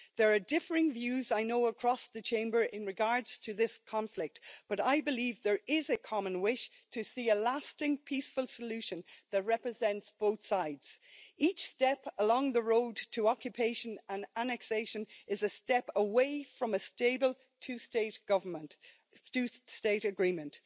There are differing views, I know, across the Chamber in regard to this conflict, but I believe there is a common wish to see a lasting peaceful solution that represents both sides. Each step along the road to occupation and annexation is a step away from a stable two state agreement.